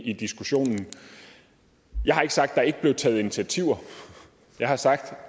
i diskussionen jeg har ikke sagt at der ikke blev taget initiativer jeg har sagt